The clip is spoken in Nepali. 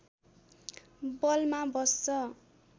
बलमा बस्छ